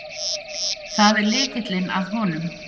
Það er lykillinn að honum.